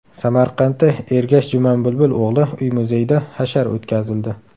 Samarqandda Ergash Jumanbulbul o‘g‘li uy-muzeyida hashar o‘tkazildi.